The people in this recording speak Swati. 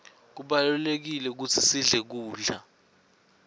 kubalulekile kutsi sidle kudla